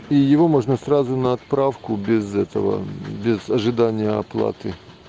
и его можно сразу на отправку без этого без ожидания оплаты